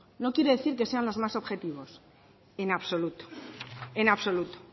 no quiere decir que sean los más objetivos en absoluto en absoluto